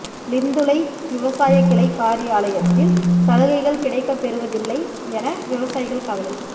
லிந்துலை விவசாய கிளை காரியாலயத்தில் சலுகைகள் கிடைக்கப்பெறுவதில்லை என விவசாயிகள் கவலை